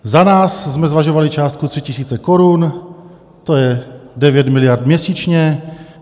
Za nás jsme zvažovali částku 3 tisíce korun, to je 9 miliard měsíčně.